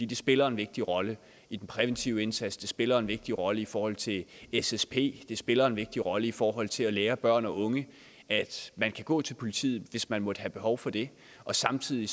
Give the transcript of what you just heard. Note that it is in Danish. det spiller en vigtig rolle i den præventive indsats det spiller en vigtig rolle i forhold til ssp det spiller en vigtig rolle i forhold til at lære børn og unge at man kan gå til politiet hvis man måtte have behov for det og samtidig